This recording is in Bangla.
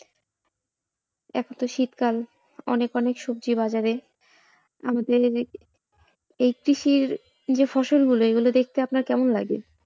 এখন তো শীতকাল অনেক অনেক সবজি বাজারে আমাদের এই কৃষির যে ফসল গুলো সেগুলো দেখতে আপনার কেমন লাগে?